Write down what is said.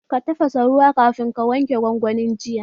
Ka tafasa ruwa kafin ka sa waken gwangwanin jiya?